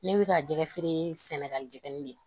Ne bɛ ka jɛgɛ feere sɛnɛgali jɛgɛni de